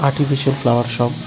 কিছু কিছু ফ্লাওয়ার সব।